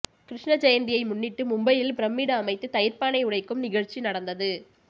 கிருஷ்ண ஜெயந்தியை முன்னிட்டு மும்பையில் பிரமிடு அமைத்து தயிர்பானை உடைக்கும் நிகழ்ச்சி நடந்தது